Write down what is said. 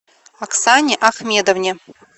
оксане ахмедовне